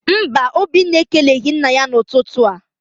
Mba, Obinna ekeleghị nna ya n'ụtụtụ a.